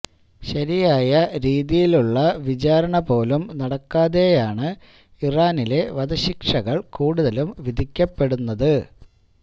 ശരിയായ രീതിയിലുള്ള വിചാരണ പോലും നടക്കാതെയാണ് ഇറാനിലെ വധശിക്ഷകൾ കൂടുതലും വിധിക്കപ്പെടുന്നത്